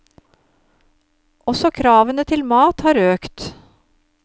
Også kravene til mat har økt.